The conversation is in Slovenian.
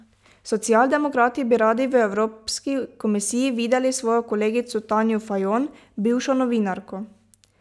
Socialdemokrati bi radi v Evropski komisiji videli svojo kolegico Tanjo Fajon, bivšo novinarko.